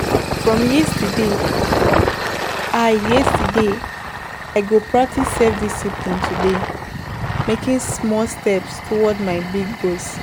From yesterday, I yesterday, I go practice self-discipline today, making small steps toward my big goals.